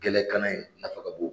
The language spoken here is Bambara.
Gɛlɛkanna in nafa ka bon